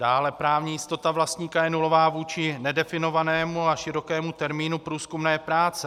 Dále právní jistota vlastníka je nulová vůči nedefinovanému a širokému termínu průzkumné práce.